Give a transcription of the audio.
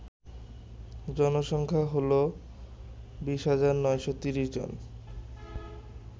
জনসংখ্যা হল ২০৯৩০ জন